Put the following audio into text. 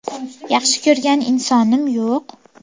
Yaxshi ko‘rgan insonim yo‘q.